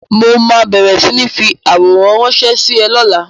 Mo ma bẹ̀rẹ̀ sí ń fi àwòrán ránsẹ́ sí ẹ lọ́la